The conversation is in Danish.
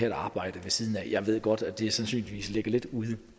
et arbejde ved siden af jeg ved godt at det sandsynligvis ligger lidt ude